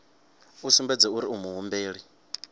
a sumbedze uri u muhumbeli